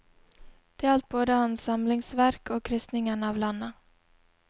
Det gjaldt både hans samlingsverk og kristningen av landet.